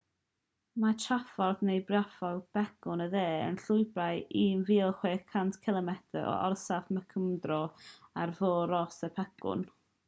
mae traffordd neu briffordd pegwn y de yn llwybr 1600 cilomedr o orsaf mcmurdo ar fôr ross i'r pegwn